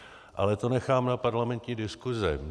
Ale to nechám na parlamentní diskuse.